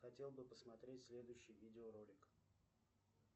хотел бы посмотреть следующий видеоролик